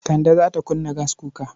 Kande za ta kunna gaskuka.